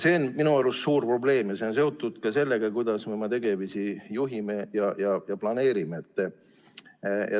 See on minu arust suur probleem ja see on seotud ka sellega, kuidas me oma tegemisi juhime ja planeerime.